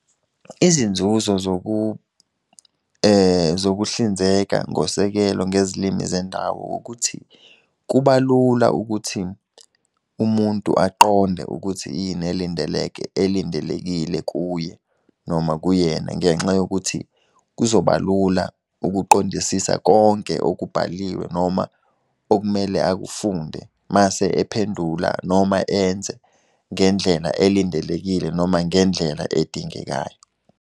Izinzuzo zokuhlinzeka ngosekelo ngezilimi zendawo ukuthi kubalula ukuthi umuntu aqonde ukuthi yini elindeleke elindelekile kuye noma kuyena ngenxa yokuthi kuzobalula ukuqondisisa konke okubhaliwe noma okumele akafunde mase ephendula noma enze ngendlela elindelekile noma ngendlela edingekayo.